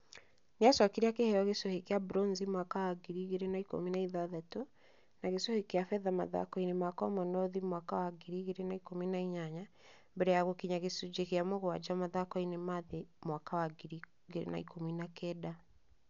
Nĩ acokire akĩheo gĩcũhĩ kĩa bronze Africa mwaka wa 2016, na gĩcũhĩ kĩa betha mathako-inĩ ma Commonwealth mwaka wa 2018 mbere ya gũkinya gĩcunjĩ gĩa mũgwanja mathako-inĩ ma thĩ mwaka wa 2019.